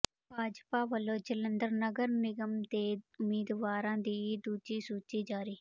ਭਾਜਪਾ ਵੱਲੋਂ ਜਲੰਧਰ ਨਗਰ ਨਿਗਮ ਦੇ ਉਮੀਦਵਾਰਾਂ ਦੀ ਦੂਜੀ ਸੂਚੀ ਜਾਰੀ